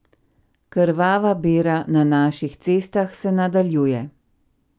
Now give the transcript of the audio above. Krvava bera na naših cestah se nadaljuje.